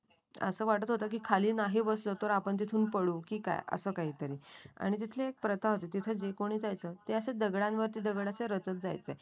असं वाटत होतं की खाली नाही बसलो तर आपण तिथून पळू की काय अस काही तरी आणि तिथली एक प्रथा होती तिथे जे कोणी जायचं ते दगडांवरती दगड असे रचत जायचे